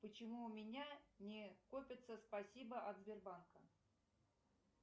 почему у меня не копятся спасибо от сбербанка